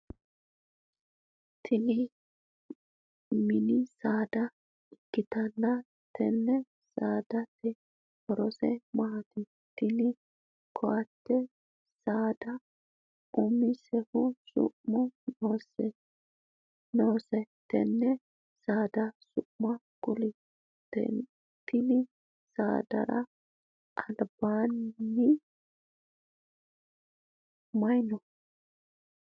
Tinni minni saada ikitanna tenne saadate horose maati? Tinni kotte saada umisehu su'mu noose tenne saada su'ma kuli? Tenne saadara albaanni mayi no?